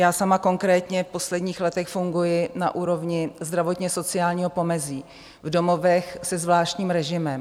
Já sama konkrétně v posledních letech funguji na úrovni zdravotně-sociálního pomezí v domovech se zvláštním režimem.